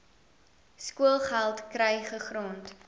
skoolgeld kry gegrond